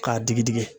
K'a digi digi